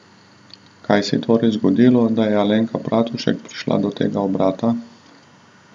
Kaj se je torej zgodilo, da je Alenka Bratušek prišla do tega obrata?